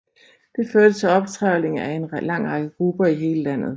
Det førte til optrevling af en lang række grupper i hele landet